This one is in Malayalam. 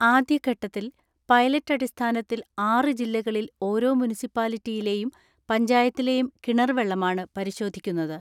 ആദ്യഘട്ടത്തിൽ പൈലറ്റ് അടിസ്ഥാനത്തിൽ ആറ് ജില്ലക ളിൽ ഒരോ മുനിസിപ്പാലിറ്റിയിലെയും പഞ്ചായത്തിലെയും കിണർ വെള്ളമാണ് പരിശോധിക്കുന്നത്.